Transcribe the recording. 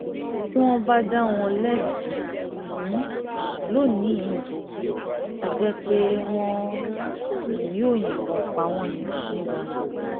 tí wọ́n bá dá wọn lẹ́bi um lónì-ín yìí á jẹ́ pé wọn um yóò yìnbọn pa wọ́n ní gbangba ni